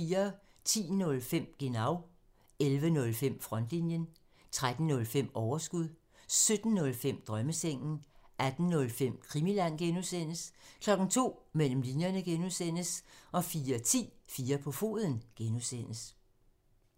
10:05: Genau (tir) 11:05: Frontlinjen (tir) 13:05: Overskud (tir) 17:05: Drømmesengen (G) 18:05: Krimiland (G) (tir) 02:00: Mellem linjerne (G) (tir) 04:10: 4 på foden (G) (tir)